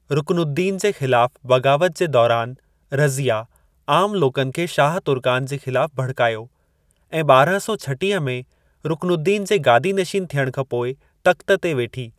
रुकनुद्दीन जे ख़िलाफ़ बग़ावत जे दौरानि, रज़िया आमु लोकनि खे शाह तुर्कान जे ख़िलाफ़ भड़कायो, ऐं ॿारहाँ सौ छटीह में रुकनुद्दीन जे गादीनशीन थियणु खां पोइ तख़्त ते वेठी।